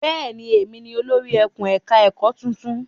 Bẹ́ẹ̀ ni, èmi ni olórí ẹkùn-ẹ̀ka-ẹ̀kọ́ tuntun.